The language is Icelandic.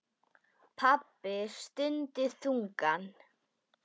Pabbi stundi þungan.